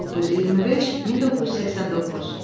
1925-1989.